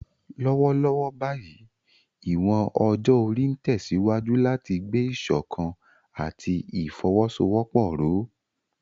Lọ́wọ́lọ́wọ́ báyìí, ìwọ̀n ọjọ́ orí ń tẹ̀síwájú láti gbé ìṣọ̀kan àti ìfọwọ́sowọ́pọ̀ ró.